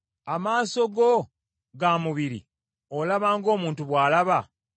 Amaaso go ga mubiri? Olaba ng’omuntu bw’alaba?